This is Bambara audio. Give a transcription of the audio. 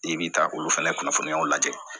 I bi taa olu fɛnɛ kunnafoniyaw lajɛ